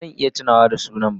Ba zan iya tunawa da sunan ba.